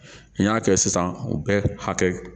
N y'a kɛ sisan u bɛ hakɛ